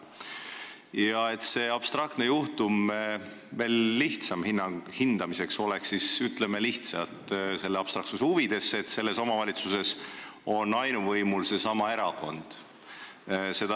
Ja et seda abstraktset juhtumit oleks veel lihtsam hinnata, siis ütleme lihtsalt, abstraktsuse huvides, et selles omavalitsuses on ainuvõimul seesama erakond.